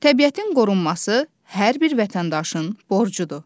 Təbiətin qorunması hər bir vətəndaşın borcudur.